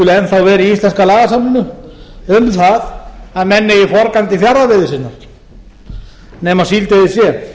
skuli enn þá vera í íslenska lagaforminu um það að menn eigi forgang til forgang til fjarðarveiði sinnar nema síldveiði sé